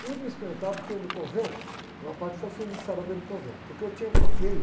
Tudo eu experimentava porque no convento, uma parte foi financiada pelo convento, porque eu tinha bloqueio.